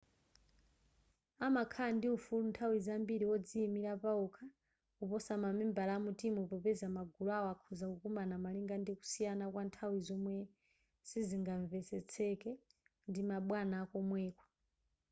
amakhala ndi ufulu nthawi zambiri wodziyimilira pawokha kuposa mamembala a mutimu popeza magulu awo akhoza kukumana malinga ndi kusiyana kwa nthawi zomwe sizingamvetsetseke ndi ma bwana akomweko